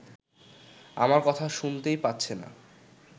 আমার কথা শুনতেই পাচ্ছে না